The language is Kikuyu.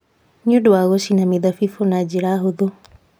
Nĩ ũndũ wa gũcina mĩthabibũ na njĩra hũthũ.